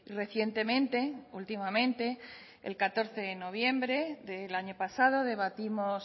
recientemente últimamente el catorce de noviembre del año pasado debatimos